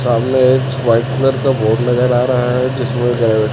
सामने एक white colour का बोर्ड नजर आ रहा है जिसमें